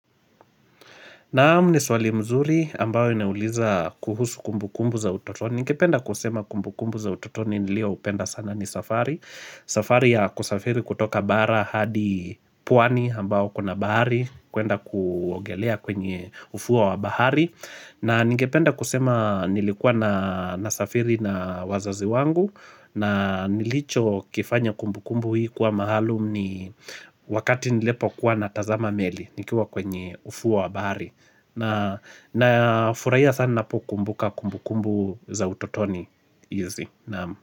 Naam ni swali mzuri ambayo inauliza kuhusu kumbukumbu za utotoni. Ningependa kusema kumbukumbu za utotoni nilioupenda sana ni safari. Safari ya kusafiri kutoka bara hadi puani ambao kuna bahari kwenda kuogelea kwenye ufuo wa bahari. Na ningependa kusema nilikuwa nasafiri na wazazi wangu na nilichokifanya kumbukumbu hii kuwa maalum ni wakati nilipokuwa natazama meli nikiwa kwenye ufuo wa bahari. Nafurahia sana ninapokumbuka kumbukumbu za utotoni. Naamu.